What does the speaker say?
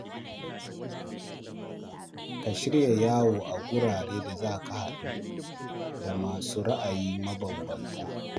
Ka shirya yawo a wuraren da za ka haɗu da masu ra’ayi mabanbanta.